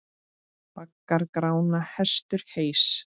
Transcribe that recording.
Baggar Grána hestur heys.